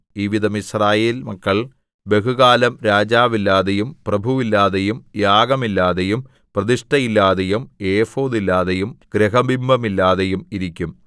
ഈ വിധം യിസ്രായേൽ മക്കൾ ബഹുകാലം രാജാവില്ലാതെയും പ്രഭുവില്ലാതെയും യാഗമില്ലാതെയും പ്രതിഷ്ഠയില്ലാതെയും എഫോദില്ലാതെയും ഗൃഹബിംബമില്ലാതെയും ഇരിക്കും